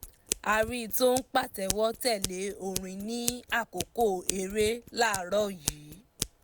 a rí i tó ń pàtẹ́wọ́ tẹ̀lé orin ní àkókò eré láàrọ̀ yìí